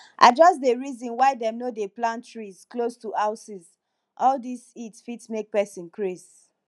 i just dey reason why dem no dey plant trees close to houses all dis heat fit make pesin craze